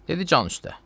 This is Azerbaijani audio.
Dedi can üstə.